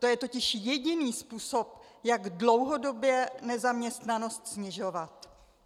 To je totiž jediný způsob, jak dlouhodobě nezaměstnanost snižovat.